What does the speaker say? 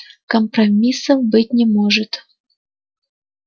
компромиссов быть не может